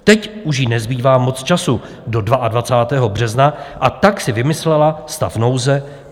Teď už jí nezbývá moc času do 22. března, a tak si vymyslela stav nouze.